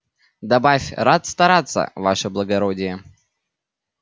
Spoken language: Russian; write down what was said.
добавь рад стараться ваше благородие